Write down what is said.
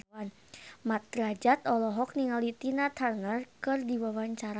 Mat Drajat olohok ningali Tina Turner keur diwawancara